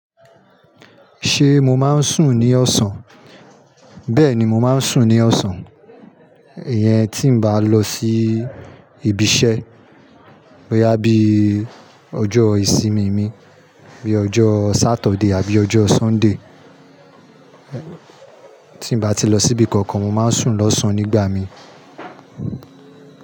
Ṣé mo máa ń sùn ní ọ̀sán? Bẹ́ẹ̀ni, mo máa ń sùn ní ọ̀sán. Ìyẹn tí n mo bá lọ sí ibi iṣẹ́. Boya bíi ojó ìsinmi mi bí ojó Saturday àbí ojó Sunday. Tí n bá ti lọ síbi kankan mo máa ń sùn lọ́sàn-án nígbà mi.